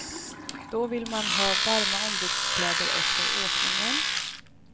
Då vill man ha varma ombyteskläder efter åkningen.